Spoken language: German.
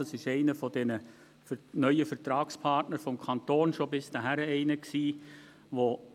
Das ist einer dieser neuen Vertragspartner des Kantons, und er war es schon bisher.